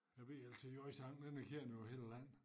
Ja VLTJ sang den er kendt over hele landet